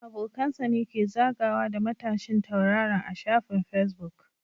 Abokan sa ne ke zagawa da matashin tauraron a shafin Facebook